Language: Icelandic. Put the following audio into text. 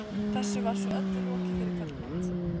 Þessu var svo öllu lokið fyrir kvöldmat.